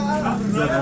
Nə var, nə var?